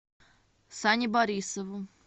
сане борисову